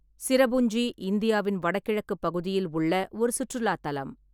சிரபுஞ்சி இந்தியாவின் வடகிழக்குப் பகுதியில் உள்ள ஒரு சுற்றுலாத் தலம்.